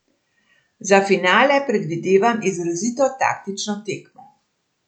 Za finale predvidevam izrazito taktična tekmo.